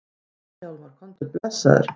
Nei Hjálmar, komdu blessaður!